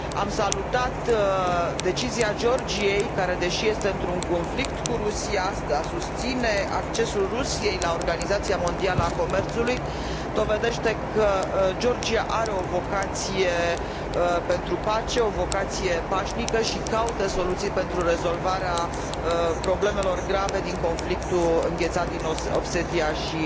Am salutat decizia Georgiei care, deși este într un conflict cu Rusia, susține accesul Rusiei la Organizația Mondială a Comerțului, ceea ce dovedește că Georgia are o vocație pentru pace, o vocație pașnică și caută soluții pentru rezolvarea problemelor grave din conflictul înghețat din Osetia și